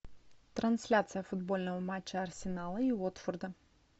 трансляция футбольного матча арсенала и уотфорда